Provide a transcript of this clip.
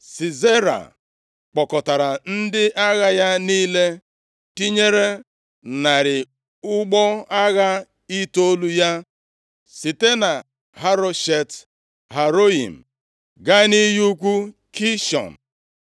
Sisera kpọkọtara ndị agha ya niile, tinyere narị ụgbọ agha itoolu ya, site na Haroshet Haroyim gaa nʼiyi ukwu Kishọn.